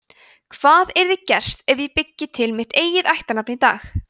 hvað yrði gert ef ég byggi til mitt eigið ættarnafn í dag